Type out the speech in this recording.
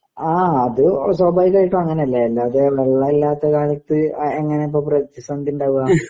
ആ അത് സ്വാഭാവികമായിട്ടും അങ്ങനെ അല്ലേ? അല്ലാതെ വെള്ളം ഇല്ലാത്ത കാലത്ത് എങ്ങനാ ഇപ്പോ പ്രതിസന്ധി ഉണ്ടാകാ?